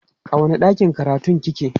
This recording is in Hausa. a wani ɗakin karatun kike?